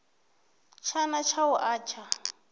tshana tsha u a tsha